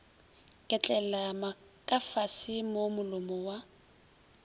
ketlela kafase mo molomo wa